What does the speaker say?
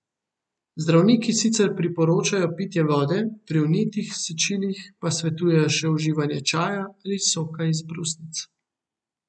Zdravniki sicer priporočajo pitje vode, pri vnetih sečilih pa svetujejo še uživanje čaja ali soka iz brusnic.